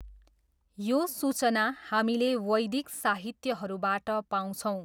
यो सूचना हामीले वैदिक साहित्यहरूबाट पाउँछौँ।